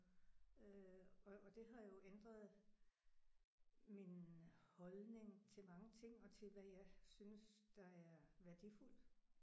Øh og og det har jo ændret min holdning til mange ting og til hvad jeg synes der er værdifuldt